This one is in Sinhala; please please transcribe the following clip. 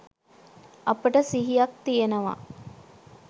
අපිට සිහියක් තියෙනවා.